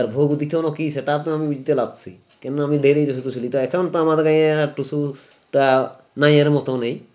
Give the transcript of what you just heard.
আর ভোগ দিতনো কী সেটাওতো আমি বুঝতে পারছি কিন্তু আমি বেরি তো শুধু এখন তো আমার গাঁয়ে টুসুটা নাইয়ের মতো নেই